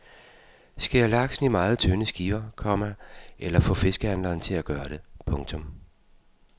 Skær laksen i meget tynde skiver, komma eller få fiskehandleren til at gøre det. punktum